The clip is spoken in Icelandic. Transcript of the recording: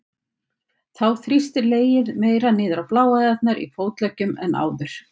Þá þrýstir legið meira niður á bláæðarnar í fótleggjum en áður.